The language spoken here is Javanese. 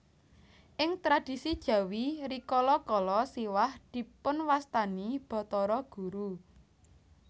Ing tradhisi Jawi rikala kala Siwah dipunwastani Bathara Guru